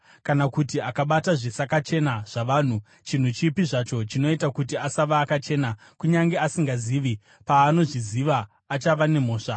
“ ‘Kana kuti akabata zvisakachena zvavanhu, chinhu chipi zvacho chinoita kuti asava akachena, kunyange asingazvizivi, paanozozviziva, achava nemhosva.